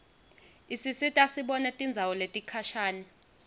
isisita sibone tindzawo letikhashane